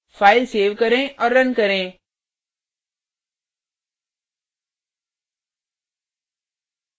file save करें और run करें